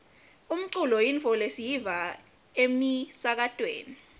umculo yintfo lesiyiva emisakatweni